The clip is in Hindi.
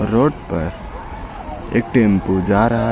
रोड पर एक टेंपो जा रहा है।